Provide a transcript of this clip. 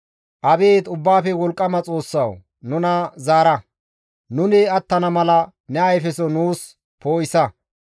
Abeet Ubbaafe Wolqqama Xoossawu! Nuna zaara; nuni attana mala ne ayfeso nuus poo7isa.